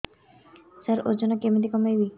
ସାର ଓଜନ କେମିତି କମେଇବି